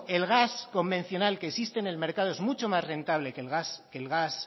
el gas convencional que existe en el mercado es mucho más rentable que el gas